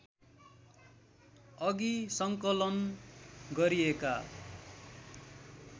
अघि सङ्कलन गरिएका